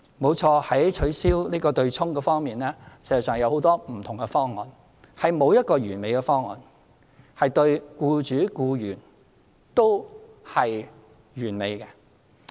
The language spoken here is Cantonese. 沒錯，在取消強積金對沖安排方面，實際上有很多不同方案，並沒有一個對僱主、僱員都是完美的方案。